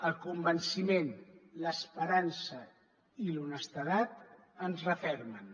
el convenciment l’esperança i l’honestedat ens refermen